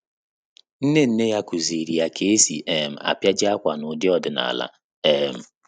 Nne nne ya kụ́zị̀rị̀ ya kà ésì um ápịajị ákwà n’ụ́dị́ ọ́dị́nála. um